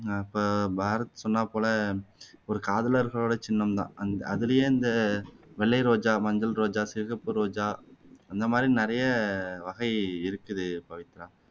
ஆஹ் இப்போ பாரத் சொன்னாப்போல ஒரு காதலர்களோட சின்னம் தான் அந்த அதுலயே இந்த வெள்ளை ரோஜா, மஞ்சள் ரோஜா, சிகப்பு ரோஜா அந்த மாதிரி நிறைய வகை இருக்குது பவித்ரா